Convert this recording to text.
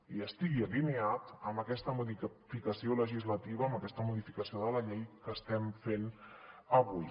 i estigui alineat amb aquesta modificació legislativa amb aquesta modificació de la llei que estem fent avui